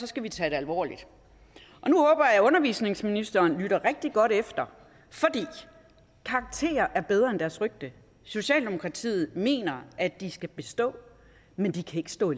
skal vi tage det alvorligt og nu håber jeg at undervisningsministeren lytter rigtig godt efter for karakterer er bedre end deres rygte socialdemokratiet mener at de skal bestå men de kan ikke stå